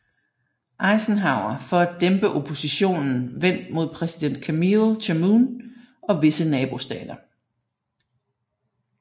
Eisenhower for at dæmpe oppositionen vendt mod præsident Camille Chamoun og visse nabostater